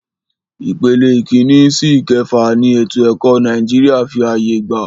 Ìpele ìkínní sí ìkẹfà ni ètò ẹ̀kọ́ Nàìjíríà fí ààyè gbà.